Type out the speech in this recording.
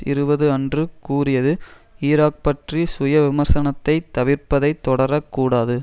இருபது அன்று கூறியது ஈராக் பற்றி சுய விமர்சனத்தை தவிர்ப்பதை தொடரக் கூடாது